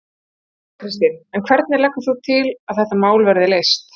Þóra Kristín: En hvernig leggur þú til að þetta mál verði leyst?